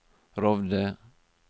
Rovde